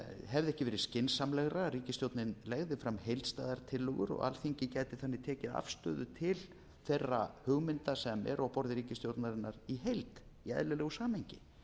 hefði ekki verið skynsamlegra að ríkisstjórnin legði fram heildstæðar tillögur og alþingi gæti þannig tekið afstöðu til þeirra hugmynda sem eru á borði ríkisstjórnarinnar í heild í eðlilegu samhengi